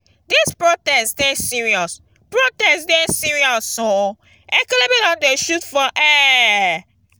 dis protest dey serious protest dey serious oo ekelebe don they shoot for air